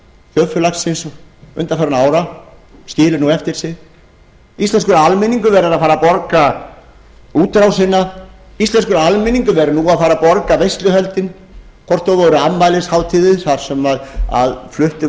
þjóðfélagsins undanfarinna ára skilur nú eftir sig íslenskur almenningur verður að fara að borga útrásina íslenskur almenningur verður nú að fara að borga veisluhöldin hvort þau voru afmælishátíðir þar sem fluttir